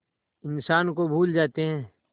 इंसान को भूल जाते हैं